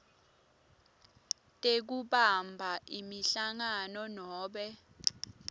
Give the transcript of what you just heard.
tekubamba imihlangano nobe